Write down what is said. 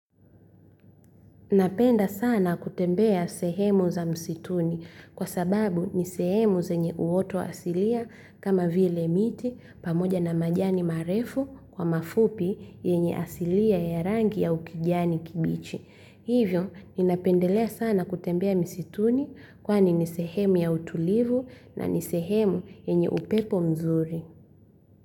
Napenda sana kutembea sehemu za msituni kwa sababu ni sehemu zenye uoto asilia kama vile miti pamoja na majani marefu kwa mafupi yenye asilia ya rangi ya kijani kibichi. Hivyo, nina pendelea sana kutembea misituni kwani ni sehemu ya utulivu, na ni sehemu yenye upepo mzuri.